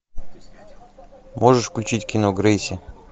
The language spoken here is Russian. можешь включить кино грейси